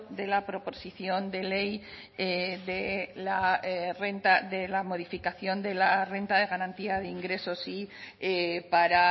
de la proposición de la modificación de la renta de garantía de ingresos y para